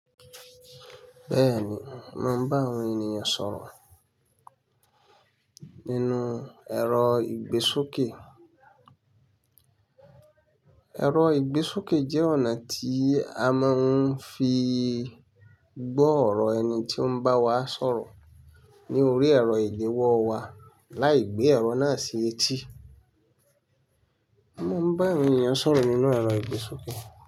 Bẹ́ẹ̀ni, màá bá àwọn ènìyàn sọ̀rọ̀ nínú ẹ̀rọ ìgbésókè. Ẹ̀rọ ìgbésókè jẹ́ ọ̀nà tí a máa ń fi gbọ́ ọ̀rọ̀ ẹni tí ó ń bá wa sọ̀rọ̀ ní orí ẹ̀rọ ìléwọ́ wa láì gbé ẹ̀rọ náà sí etí. Màá bá àwọn ènìyàn sọ̀rọ̀ nínú ẹ̀rọ ìgbésókè.